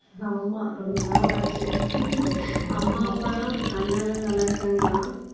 ஆமா ரொம்ப நாளாச்சு அம்மா அப்பாலாம் அண்ணாலாம் நல்லாருக்காங்களா